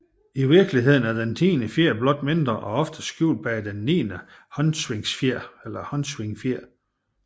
I virkeligheden er den tiende fjer blot mindre og oftest skjult bag den niende håndsvingfjer